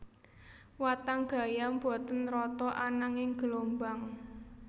Watang gayam boten rata ananging gelombang